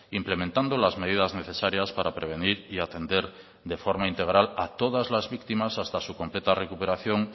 implementando las medidas necesarias para prevenir y atender de forma integral a todas las víctimas hasta su completa recuperación